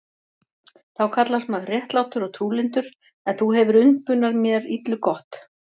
Þú kallast maður réttlátur og trúlyndur, en þú hefir umbunað mér illu gott.